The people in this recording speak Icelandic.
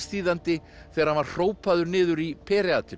Hómersþýðandi þegar hann var hrópaður niður í